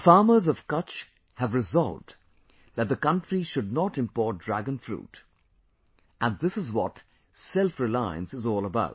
The farmers of Kutch have resolved that the country should not import Dragon Fruit and this is what self reliance is all about